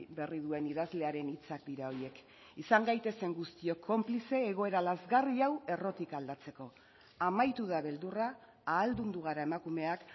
berri duen idazlearen hitzak dira horiek izan gaitezen guztiok konplize egoera lazgarri hau errotik aldatzeko amaitu da beldurra ahaldundu gara emakumeak